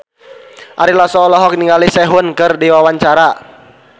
Ari Lasso olohok ningali Sehun keur diwawancara